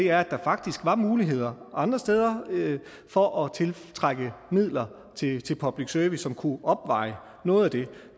er at der faktisk var muligheder andre steder for at tiltrække midler til til public service som kunne opveje noget af det